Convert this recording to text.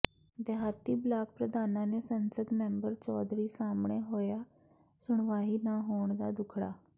ਦਿਹਾਤੀ ਬਲਾਕ ਪ੍ਰਧਾਨਾਂ ਨੇ ਸੰਸਦ ਮੈਂਬਰ ਚੌਧਰੀ ਸਾਹਮਣੇ ਰੋਇਆ ਸੁਣਵਾਈ ਨਾ ਹੋਣ ਦਾ ਦੁਖੜਾ